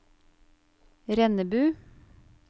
Rennebu